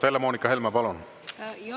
Helle-Moonika Helme, palun!